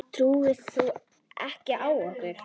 Trúir þú á okkur?